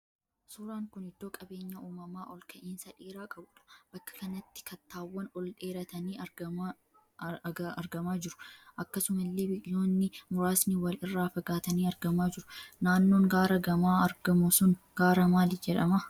Suuraan kun iddoo qabeenya uumamaa ol ka'insa dheeraa qabuudha. Bakka kanatti kattaawwan ol dheeratanii argamaa jiru. Akkasumallee biqiloonni muraasni wal irraa fagaatanii argamaa jiru. Naannoon gaara gamaa argamu sun gaara maalii jedhama?